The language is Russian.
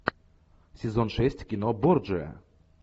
сезон шесть кино борджиа